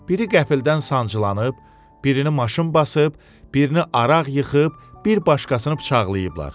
Biri qəfildən sancılanıb, birini maşın basıb, birini araq yıxıb, bir başqasını bıçaqlayıblar.